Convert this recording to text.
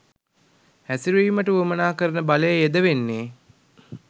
හැසිරවීමට වුවමනා කරන බලය යෙදවෙන්නෙ.